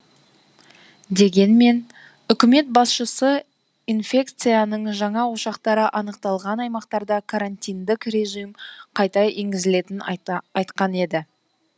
дегенмен үкімет басшысы инфекцияның жаңа ошақтары анықталған аймақтарда карантиндік режим қайта енгізілетінін айта айтқан еді